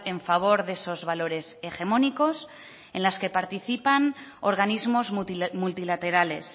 en favor de esos valores hegemónicos en las que participan organismos multilaterales